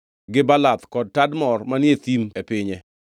gi Baalath kod Tadmor manie thim e pinye,